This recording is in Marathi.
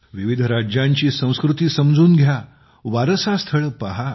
विविध राज्यांची संस्कृती समजून घ्या वारसा स्थळे पहा